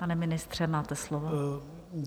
Pane ministře, máte slovo.